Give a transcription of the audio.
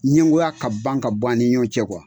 Ɲɛngoya ka ban ka bɔ ani ɲɔgɔn cɛ kuwa!